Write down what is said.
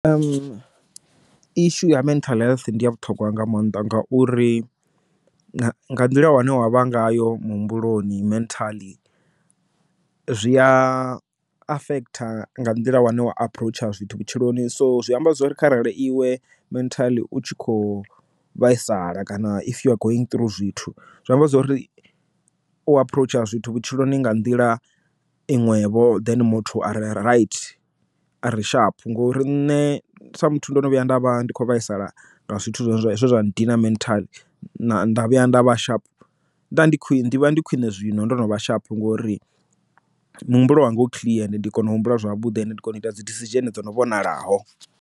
Ishu ya mental health ndi ya vhuṱhogwa nga maanḓa nga uri nga nḓila wane wa vha ngayo muhumbuloni mentally zwi a affect nga nḓila wane wa approach zwithu vhutshiloni so zwi amba zwori kharali iwe mentally utshi kho vhaisala kana if you are going through zwithu zwa amba zwori u aphuroutsha zwithu vhutshiloni nga nḓila inwe vho then muthu arali rantete a ri shaphu ngori nṋe sa muthu ndo no vhuya nda vha ndi khou vhaisala nga zwithu zwe zwa ndina mentally nda vhuya nda vha sharp nda ndi khwine ndi vha ndi khwine zwino ndo no vha shaphu ngori muhumbulo wanga u clear and ndi a kona u humbula zwavhuḓi and ndi kone u ita dzi decision dzo no vhonalaho.